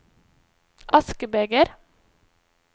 askebeger